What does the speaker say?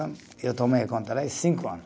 Eu tomei conta lá e cinco anos.